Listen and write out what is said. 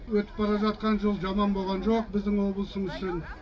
өтіп бара жатқан жыл жаман болған жоқ біздің облысымыз үшін